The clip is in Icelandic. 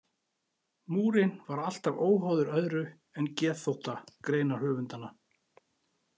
Múrinn var alltaf óháður öðru en geðþótta greinarhöfundanna.